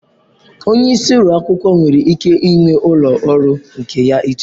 Onye isi ụlọ akwụkwọ nwere ike ịnwe ụlọ ọrụ nke ya iche.